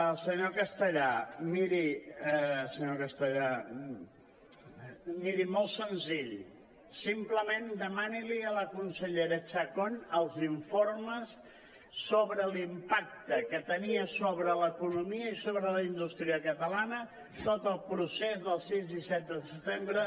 al senyor castellà miri senyor castellà miri molt senzill simplement dema·ni·li a la consellera chacón els informes sobre l’impacte que tenia sobre l’economia i sobre la indústria catalana tot el procés del sis i set de setembre